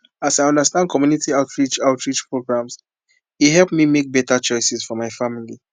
as i understand community outreach outreach programs e help me make better choices for my family